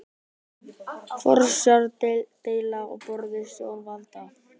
Forsjárdeila á borði stjórnvalda